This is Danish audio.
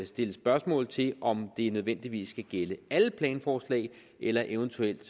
stille spørgsmål til om det nødvendigvis skal gælde alle planforslag eller eventuelt